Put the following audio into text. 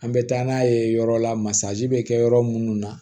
An bɛ taa n'a ye yɔrɔ la masa bɛ kɛ yɔrɔ minnu na